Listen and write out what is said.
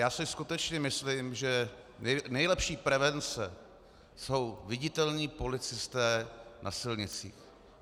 Já si skutečně myslím, že nejlepší prevence jsou viditelní policisté na silnicích.